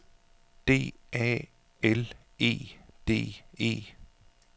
D A L E D E